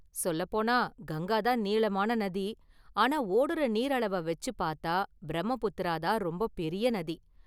சொல்லப் போனா கங்கா தான் நீளமான நதி, ஆனா ஓடுற நீர் அளவை வச்சு பார்த்தா பிரம்மபுத்திரா தான் ரொம்ப பெரிய நதி.